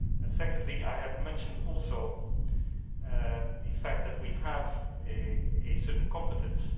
Secondly, I have mentioned also the fact that we have a certain competence.